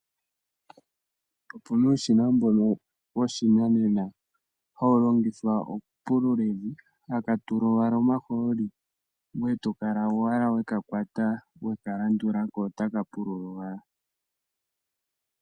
Opu na uushina mbono woshinanena hawu longithwa okupulula evi, haka tulwa owala omahooli ngweye tokala owala we ka kwata, we ka kalandula ko otaka pulula owala.